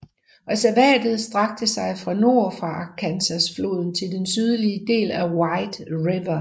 Reservatet strakte sig fra nord for Arkansasfloden til den sydlige bred af White River